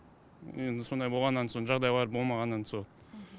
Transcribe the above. енді сондай болғаннан соң жағдайлары болмағаннан соң